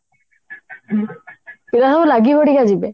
ଯାହା ହଉ ଲାଗି ପଡିକି ଯିବେ